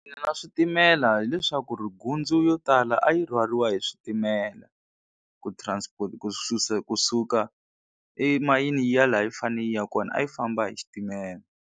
Na switimela hileswaku ri gundzu yo tala a yi rhwariwa hi switimela ku transport ku susa kusuka emayini yi ya laha yi fanele yi ya kona a yi famba hi xitimela.